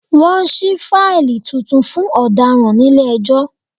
Wọ́n ṣí fáílì tuntun fún ọ̀daràn nílé ẹjọ́